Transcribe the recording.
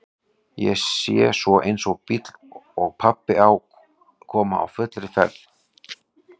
Ég sé svo eins bíl og pabbi á koma á fullri ferð.